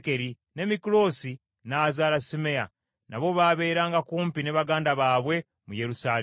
ne Mikuloosi n’azaala Simeeyi. Nabo baabeeranga kumpi ne baganda baabwe mu Yerusaalemi.